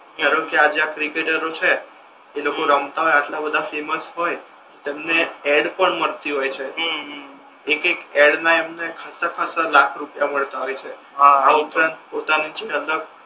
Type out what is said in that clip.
ધારો કે આજે આ ક્રિકેટરો છે એ લોકો રમતા હોય આટલા બધા ફેમસ હોય તમને એડ પણ મળતી હોય છે હમ હમ એ કઈક એક એક એડ ના એમને ખાસા ખાસા લાખ રૂપિયા મળતા હોય છે આહ આ ઉપરાંત પોતાની જે અલગ